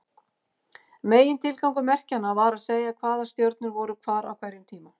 Megintilgangur merkjanna var að segja hvaða stjörnur voru hvar á hverjum tíma.